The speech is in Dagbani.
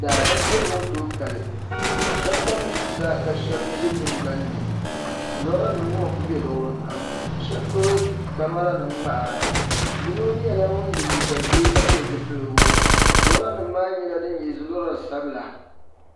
Daadam beligu ku tooi kali sheba tam zuɣusaa ka sheba za tingbanni lora nima ŋɔ n kuli be luɣuli kam ka sheba gbibi kamara nima ŋmaara yino nyɛla ŋun ye liiga ʒee ka pili zipiligu lora nima maa nyɛla di nyɛ lora sabila.